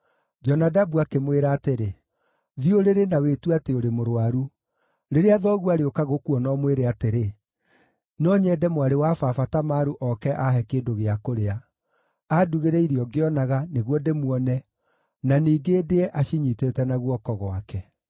Jonadabu akĩmwĩra atĩrĩ, “Thiĩ ũrĩrĩ na wĩtue atĩ ũrĩ mũrũaru. Rĩrĩa thoguo arĩũka gũkuona, ũmwĩre atĩrĩ, ‘No nyende mwarĩ wa baba Tamaru oke aahe kĩndũ gĩa kũrĩa. Andugĩre irio ngĩonaga, nĩguo ndĩmuone, na ningĩ ndĩe acinyiitĩte na guoko gwake.’ ”